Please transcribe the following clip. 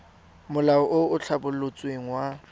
molao o o tlhabolotsweng wa